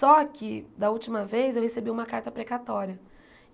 Só que, da última vez, eu recebi uma carta precatória.